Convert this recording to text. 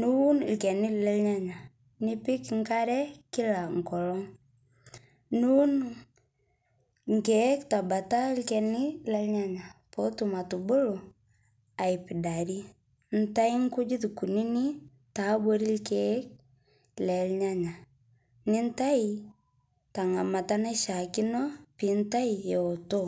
nuun lkeni le nyanyaa nipik nkaree kila nkolong nuun nkeek tabata lkeni le nyanyaa pootum atubuluu aipidari ntai kujit kunini taabori lkeek le nyanyaa nintai tangamata naishiakino pintai ewoto